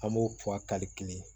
An b'o fɔ a kalite